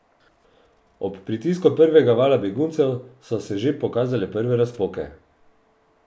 Ob pritisku prvega vala beguncev so se že pokazale prve razpoke.